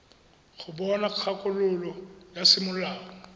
go bona kgakololo ya semolao